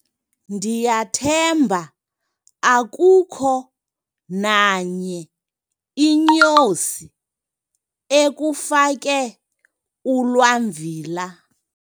ndiyathemba akukho nanye inyosi ekufake ulwamvila